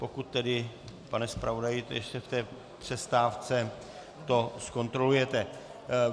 Pokud tedy, pane zpravodaji, ještě v té přestávce to zkontrolujete.